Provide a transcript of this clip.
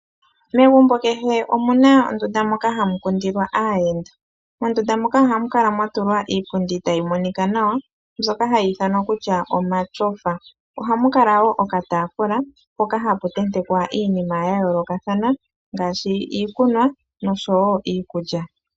Megumbo kehe omu na ondunda moka hamu kundilwa aayenda. Mondunda moka ohamu kala mwa tulwa iipundi tayi monika nawa, mbyoka hayi ithanwa kutya omatyofa. Ohamu kala wo okataafula mpoka hapu tentekwa iinima ya yoolokathana ngaashi iikunwa noshowo iikulya.